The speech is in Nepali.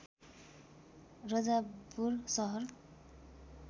रजाबपुर सहर